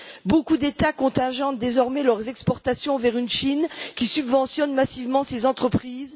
Beaucoup d'États contingentent désormais leurs exportations vers une Chine qui subventionne massivement ces entreprises.